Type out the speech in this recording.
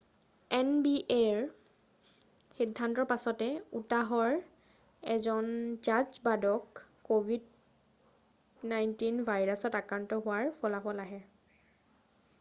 এনবিএৰ সিদ্ধান্তৰ পিছতে উটাহৰ এজন জাজ বাদক ক'ভিড 19 ভাইৰাছত আক্ৰান্ত হোৱাৰ ফলাফল আহে